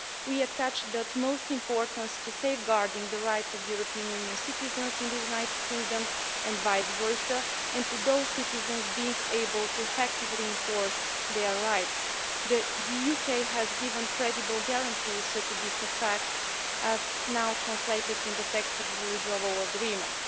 We attach the utmost importance to safeguarding the rights of European Union citizens in the United Kingdom and vice versa, and to those citizens being able to effectively enforce their rights. The UK has given credible guarantees to this effect, as now translated in the text of the Withdrawal Agreement.